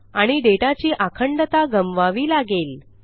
आणि डेटा ची आखंडता गमवावी लागेल